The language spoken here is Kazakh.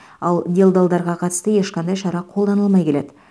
ал делдалдарға қатысты ешқандай шара қолданылмай келеді